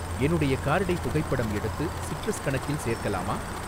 என்னுடைய கார்டை புகைப்படம் எடுத்து சிட்ரஸ் கணக்கில் சேர்க்கலாமா?